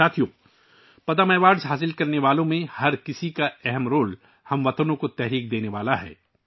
ساتھیو، پدم ایوارڈ حاصل کرنے والوں میں سے ہر ایک کا تعاون ہم وطنوں کے لیے ایک تحریک ہے